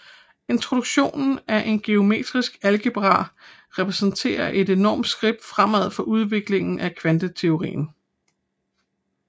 Introduktionen af en Geometrisk algebra repræsenterede et enormt skridt fremad for udviklingen af kvanteteorien